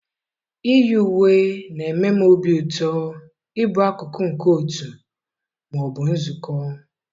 iyi uwe na-eme m obi ụtọ ịbụ akụkụ nke otu ma ọ bụ nzukọ.